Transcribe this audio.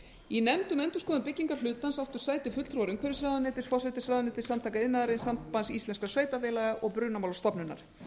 í nefnd endurskoðun byggingarhlutans áttu sæti fulltrúar umhverfisráðuneytis forsætisráðuneytis samtaka iðnaðarins sambands íslenskra sveitarfélaga og brunamálastofnunar